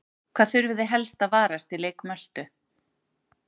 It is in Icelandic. Hvað þurfið þið helst að varast í leik Möltu?